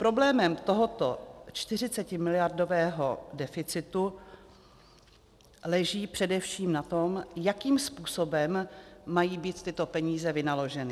Problémy tohoto 40miliardového deficitu leží především na tom, jakým způsobem mají být tyto peníze vynaloženy.